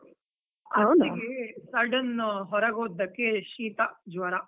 ಅತ್ತಿಗೆ sudden ಹೊರಗ್ ಹೋದಕ್ಕೆ, ಶೀತ, ಜ್ವರ.